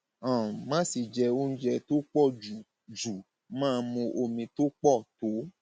um má ṣe jẹ oúnjẹ tó pọ jù jù máa mu omi tó pọ tó